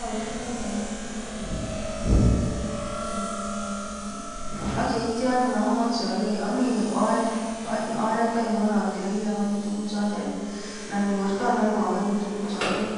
arortoi alenji ibe kasarta netian agoi yotet Ole kiibunon tuguk ak yeityo anyun alei amii oret ainon ateleli ogonye tuguchotet anan nyorton ano agonye tuguchotet